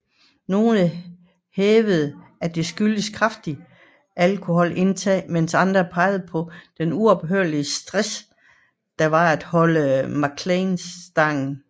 Nogle hævdede at det skyldtes kraftig alkoholindtagelse mens andre peger på det uophørlige stress det var at holde McClellan stangen